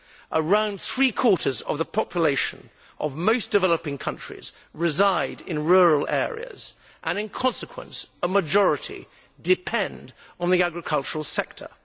Around three quarters of the population of most developing countries reside in rural areas and, in consequence, a majority depend on the agricultural sector.